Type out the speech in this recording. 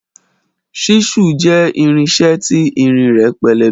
Ṣisu jẹ ìrínsẹ ti ìrín rẹ pẹlẹbẹ